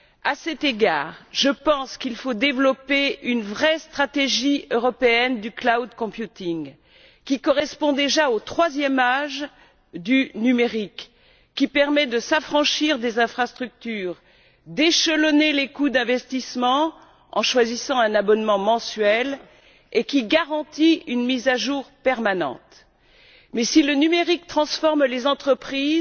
À cet égard, je pense qu'il faut développer une véritable stratégie européenne du cloud computing correspondant déjà au troisième âge du numérique qui permet de s'affranchir des infrastructures et d'échelonner les coûts d'investissement en choisissant un abonnement mensuel tout en garantissant une mise à jour permanente. Mais si le numérique transforme les entreprises,